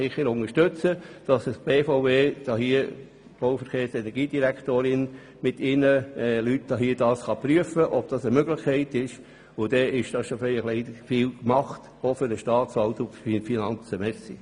Bitte unterstützen Sie diese, damit die Direktorin der Bau-, Verkehrs- und Energiedirektion mit ihren Leuten das Anliegen prüfen kann.